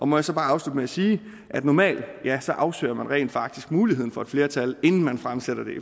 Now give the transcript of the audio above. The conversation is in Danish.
må jeg så bare afslutte med at sige at normalt afsøger man rent faktisk muligheden for et flertal inden man fremsætter